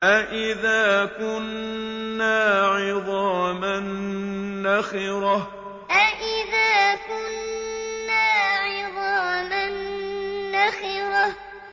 أَإِذَا كُنَّا عِظَامًا نَّخِرَةً أَإِذَا كُنَّا عِظَامًا نَّخِرَةً